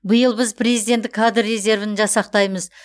биыл біз президенттік кадр резервін жасақтаймыз